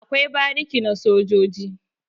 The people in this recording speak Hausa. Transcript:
Akwai bariki na sojoji